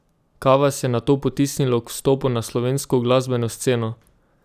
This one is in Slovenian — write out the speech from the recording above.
Kaj vas je nato potisnilo k vstopu na slovensko glasbeno sceno?